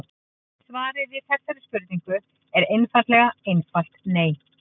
Svarið við þessari spurningu er eiginlega einfalt nei.